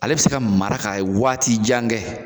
Ale bɛ se ka mara ka waati jan kɛ.